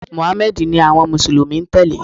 Mùháméèdì ni àwon mùsùlùmí n tèlé